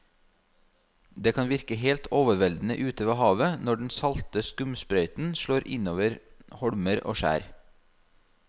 Det kan virke helt overveldende ute ved havet når den salte skumsprøyten slår innover holmer og skjær.